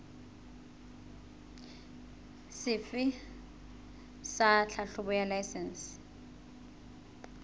sefe sa tlhahlobo ya laesense